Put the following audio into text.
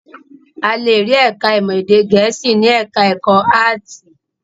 A le rí ẹ̀ka-ìmọ̀ èdè Gẹ̀ẹ́sì ní ẹ̀ka-ẹ̀kọ́ áátì.